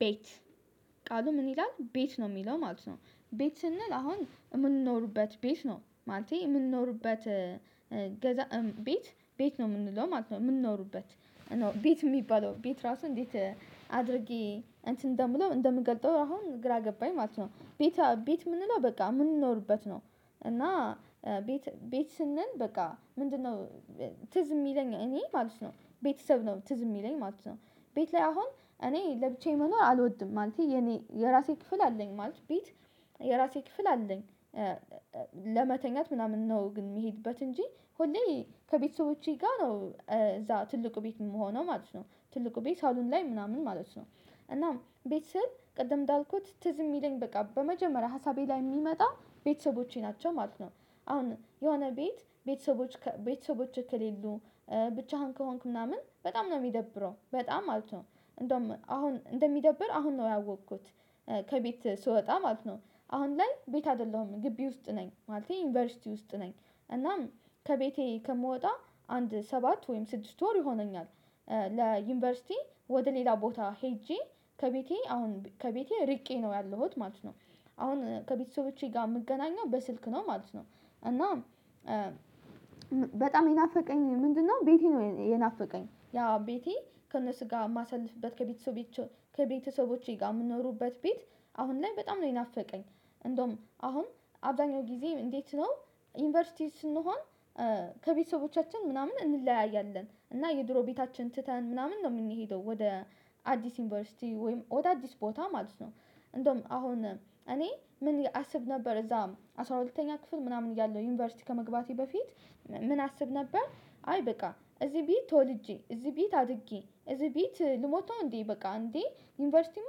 ቤት ቃሉ ምን ይላል ቤት ነው የሚለው ማለት ነው። ቤት ስንል አሁን የምንኖርበት ቤት ነው ማለቴ የምንኖርበት። ገዛ ቤት ቤት ነው የምንለው ማለት ነው የምንኖርበት እና ቤት የሚባለው ቤት ራሱ እንዴት? አድርጌ እንትን እንደምለው እንደምገልጠው አሁን ግራ ገባኝ ማለት ነው። ቤት ቤት የምንለው በቃ የምንኖርበት ነው። እና ቤት ቤት ስንል በቃ ምንድነው? ትዝ የሚለኝ እኔ ማለት ነው ቤተሰብ ነው ትዝ የሚለኝ ማለት ነው። ቤት ላይ አሁን እኔ ለብቻዬ መኖር አልወድም ማለት የኔ የራሴ ክፍል አለኝ ማለት ቢት የራሴ ክፍል አለኝ። ለመተኛት ምናምን ነው ግን የሚሄድበት እንጂ ሁሌ ከቤተሰቦቼ ጋር ነው እዛ ትልቁ ቤት የምሆነው ማለት ነው ትልቁ ቤት ሳሎን ላይ ምናምን ማለት ነው። እናም ቤት ስል ቅድም እንዳልኩት ትዝ የሚለኝ በቃ በመጀመሪያ ሀሳቤ ላይ የሚመጣ ቤተሰቦቼ ናቸው ማለት ነው። አሁን የሆነ ቤት ቤተሰቦች ቤተሰቦችህ ከሌሉ። ብቻህን ከሆንክ ምናምን በጣም ነው የሚደብረው በጣም ማለት ነው እንደውም አሁን እንደሚደብር አሁን ነው ያወቅኩት። ከቤት ስወጣ ማለት ነው አሁን ላይ ቤት አይደለሁም ግቢ ውስጥ ነኝ ማለቴ ዩኒቨርሲቲ ውስጥ ነኝ። እናም ከቤቴ ከምወጣ አንድ ሰባት ወይም ስድስት ወር ይሆነኛል። ለዩኒቨርሲቲ ወደ ሌላ ቦታ ሄጄ ከቤቴ አሁን ከቤቴ ርቄ ነው ያለሁት ማለት ነው። አሁን ከቤተሰቦቼ ጋር የምገናኘው በስልክ ነው ማለት ነው። እና በጣም የናፈቀኝ ምንድነው? ቤቴ ነው የናፈቀኝ ያው ቤቴ ከእነሱ ጋር የማሳልፍበት ከቤተሰቦቼ ጋር የምንኖርበት ቤት አሁን ላይ በጣም ነው የናፈቀኝ። እንደውም አሁን አብዛኛው ጊዜ እንዴት ነው? ዩኒቨርሲቲ ስንሆን ከቤተሰቦቻችን ምናምን እንለያያለን እና የድሮ ቤታችን ትተን ምናምን ነው የምንሄደው ወደ አዲስ ዩኒቨርሲቲ ወይም ወደ አዲስ ቦታ ማለት ነው። እንደውም አሁን እኔ ምን አስብ ነበር እዛም አስራ ሁለተኛ ክፍል ምናምን እያለሁ ዩኒቨርሲቲ ከመግባቴ በፊት ምን አስብ ነበር? አይ በቃ እዚህ ቤት ተወልጄ እዚህ ቤት አድጌ እዚህ ቤት ልሞቷ እንዴ በቃ እንዴ ዩኒቨርሲቲማ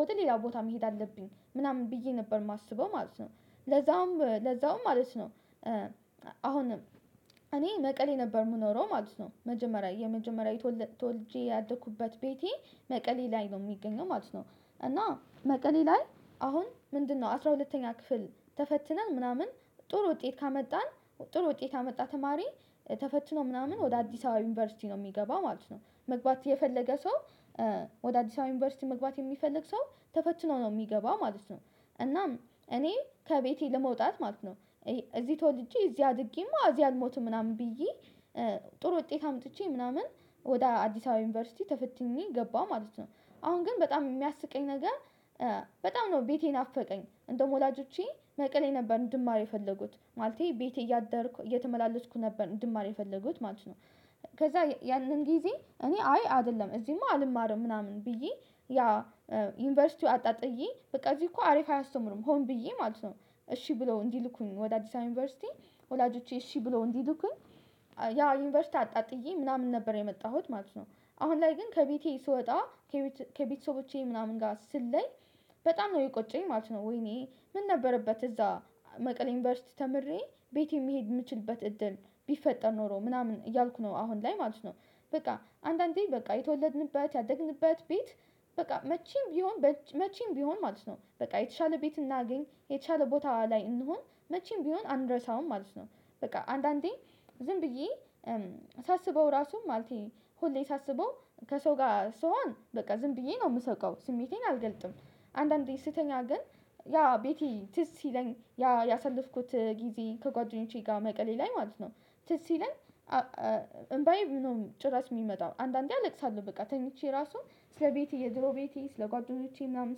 ወደ ሌላ ቦታ መሄድ አለብኝ ምናምን ብዬ ነበር የማስበው ማለት ነው። ለዛውም ለዛውም ማለት ነው። አሁንም እኔ መቀሌ ነበር እምኖረው ማለት ነው መጀመሪያ የመጀመሪያ ተወልጄ ያደኩበት ቤቴ መቀሌ ላይ ነው የሚገኘው ማለት ነው። እና መቀሌ ላይ አሁን ምንድነው? አስራ ሁለተኛ ክፍል ተፈትነን ምናምን ጥሩ ውጤት ካመጣን ጥሩ ውጤት ያመጣ ተማሪ ተፈትኖ ምናምን ወደ አዲስ አበባ ዩኒቨርሲቲ ነው የሚገባው ማለት ነው መግባት የፈለገ ሰው ወደ አዲስ አበባ ዩኒቨርሲቲ መግባት የሚፈልግ ሰው ተፈችኖ ነው የሚገባ ማለት ነው። እናም እኔ ከቤቴ ለመውጣት ማለት ነው። እዚህ ተወልጄ እዚህ አድጌማ እዚህ አልሞትም ምናምን ብዬ ጥሩ ውጤት አምጥቼ ምናምን ወደ አዲስ አበባ ዩኒቨርሲቲ ተፈትኜ ገባሁ ማለት ነው። አሁን ግን በጣም የሚያስቀኝ ነገር በጣም ነው ቤቴ የናፈቀኝ እንደውም ወላጆቼ መቀሌ ነበር እንድማር የፈለጉት ማለቴ ቤቴ እያደርኩ እየተመላለስኩ ነበር እንድማር የፈለጉት ማለት ነው። ከዛ ያንን ጊዜ እኔ አይ አይደለም እዚህማ አልማረም ምናምን ብዬ። ዩኒቨርሲቲው አጣጥዬ በቃ እዚህ እኮ አሪፍ አያስተምሩም ሆን ብዬ ማለት ነው እሺ ብለው እንዲልኩኝ ወደ አዲስ አበባ ዩኒቨርሲቲ። ወላጆቼ እሺ ብሎ እንዲልኩኝ ዩኒቨርሲቲ አጣጥዬ ምናምን ነበር የመጣሁት ማለት ነው። አሁን ላይ ግን ከቤቴ ስወጣ። ከቤተሰቦቼ ምናምን ጋር ስለይ። በጣም ነው የቆጨኝ ማለት ነው ወይኔ ምን ነበርበት እዛ? መቀሌ ዩኒቨርሲቲ ተምሬ ቤቴ መሄድ የምችልበት እድል ቢፈጠር ኖሮ ምናምን እያልኩ ነው አሁን ላይ ማለት ነው። በቃ አንዳንዴ በቃ የተወለድንበት ያደግንበት ቤት በቃ መቼም ቢሆን መቼም ቢሆን ማለት ነው በቃ የተሻለ ቤት እናግኝ የተሻለ ቦታዋ ላይ እንሁን መቼም ቢሆን አንድረሳውም ማለት ነው። በቃ አንዳንዴ ዝም ብዬ ሳስበው ራሱም ማለቴ ሁሌ ሳስበው ከሰው ጋር ስሆን በቃ ዝም ብዬ ነው የምሰቃው ስሜቴን አልገልጥም። አንዳንዴ ስተኛ ግን ያ ቤቴ ትዝ ሲለኝ ያ ያሳለፍኩት ጊዜ ከጓደኞቼ ጋር መቀሌ ላይ ማለት ነው። ትዝ ሲለኝ። እምባዬ ምነው ጭራሽ የሚመጣው አንዳንዴ አለቅሳለሁ በቃ ተኝቼ ራሱ ስለቤቴ የድሮ ቤቴ ስለጓደኞቼ ምናምን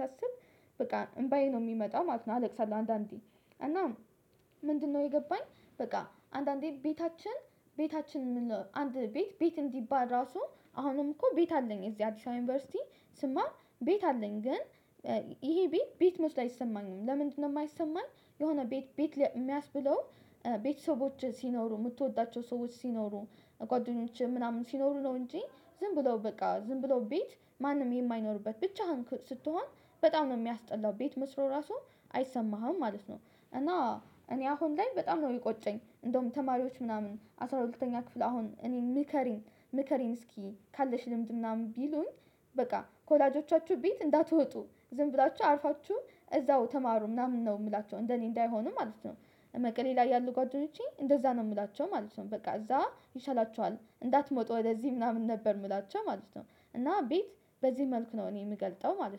ሳስብ በቃ እምባዬ ነው የሚመጣው ማለት ነው አለቅሳለሁ አንዳንዴ። እና ምንድነው የገባኝ? በቃ አንዳንዴ ቤታችን ቤታችን የምንለው አንድ ቤት ቤት እንዲባል ራሱ አሁንም እኮ ቤት አለኝ እዚህ አዲስ አበባ ዩኒቨርሲቲ ስማር ቤት አለኝ ግን። ይሄ ቤት ቤት መስሎ አይሰማኝም ለምንድነው? የማይሰማኝ? የሆነ ቤት ቤት የሚያስብለው ቤተሰቦች ሲኖሩ የምትወዳቸው ሰዎች ሲኖሩ። ጓደኞቼ ምናምን ሲኖሩ ነው እንጂ ዝም ብለው በቃ ዝም ብለው ቤት ማንም የማይኖርበት ብቻህን ስትሆን በጣም ነው የሚያስጠላው ቤት መስሎ ራሱ አይሰማህም ማለት ነው። እና እኔ አሁን ላይ በጣም ነው የሚቆጨኝ እንደውም ተማሪዎች ምናምን አስራ ሁለተኛ ክፍል አሁን እኔ ምከሪን ምከሪን እስኪ ካለሽ ልምድ ምናምን ቢሉኝ። በቃ ከወላጆቻችሁ ቤት እንዳትወጡ ዝም ብላችሁ አርፋችሁ እዛው ተማሩ ምናምን ነው የምላቸው እንደኔ እንዳይሆኑ ማለት ነው። መቀሌ ላይ ያሉ ጓደኞቼ እንደዛ ነው የምላቸው ማለት ነው በቃ እዛ ይሻላችኋል እንዳትመጡ ወደዚህ ምናምን ነበር የምላቸው ማለት ነው። እና ቤት በዚህ መልኩ ነው እኔ የምገልጠው ማለት ነው